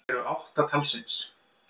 Reglulegu tunglin eru átta talsins.